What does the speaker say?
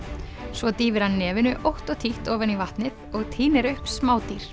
svo dýfir hann nefinu ótt og títt ofan í vatnið og tínir upp